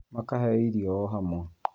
Makaheo irio oro imwe